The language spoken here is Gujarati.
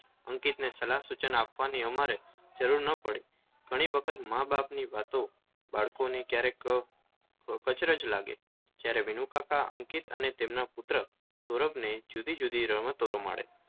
અંકિતને સલાહ સૂચન આપવાની અમારે જરૂર ન પડી ઘણી વખત માબાપની વાતો બાળકોને ક્યારેક અચરજ લાગે જયારે વિનુકાકા અંકિત અને એના પુત્ર સૌરભને જુદી જુદી રમતો રમાડે